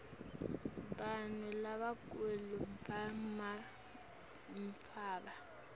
bantfu lababhemako banematfuba